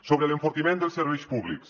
sobre l’enfortiment dels serveis públics